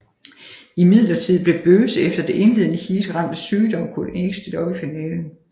Imidlertid blev Böse efter det indledende heat ramt af sygdom og kunne ikke stille op i finalen